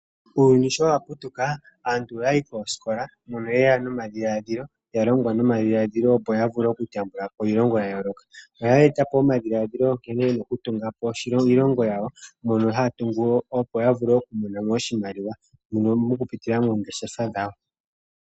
Uuyuni sho wa putuka aantu oya yi koosikola mono yeya nomadhiladhilo, yalongwa nomadhila dhilo opo ya vule oku yambulapo iilongo yayooloka. Oya etapo omadhila dhilo nkene yena okutungapo iilongo yawo mono haya tungu opo yavule okumonamo oshimaliwa mokupitila moongeshefa dhawo